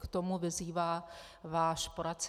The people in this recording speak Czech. K tomu vyzývá váš poradce.